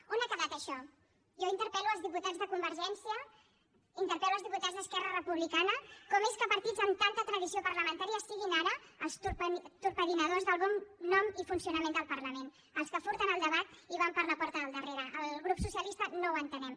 on ha quedat això jo interpel·lo els diputats de convergència interpel·lo els diputats d’esquerra republicana com és que partits amb tanta tradició parlamentària són ara els torpediners del bon nom i funcionament del parlament els que furten el debat i van per la porta del darrere al grup socialista no ho entenem